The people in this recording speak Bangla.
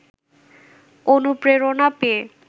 অনুপ্রেরণা পেয়ে